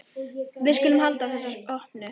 Við skulum halda þessu opnu.